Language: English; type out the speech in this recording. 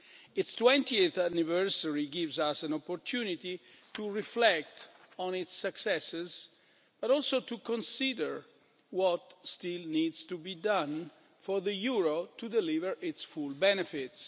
Its twentieth anniversary gives us an opportunity to reflect on its successes, but also to consider what still needs to be done for the euro to deliver its full benefits.